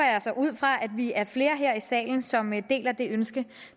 ud fra at vi er flere her i salen som deler det ønske